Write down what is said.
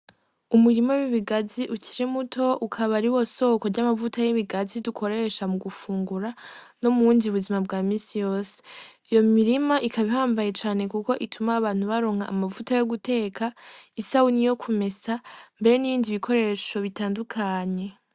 Umurima w'ibigazi ukiri muto ukaba ariwo soko y'amavuta y'ibigazi dukoresha mu gufungura no mubundi buzima bwa minsi yose, iyo mirima ikaba ihambaye cane kuko ituma abantu baronka amavuta yo guteka isabune, yo kumesa mbehe n'ibindi bikoresho bitandukanye.